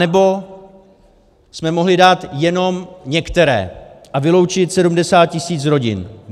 Anebo jsme mohli dát jenom některé a vyloučit 70 tisíc rodin.